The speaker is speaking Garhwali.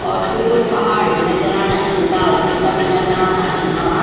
और दूर पहाड़ भी नजर आणा छिंन डाल बूटा भी नजर आणा छिंन।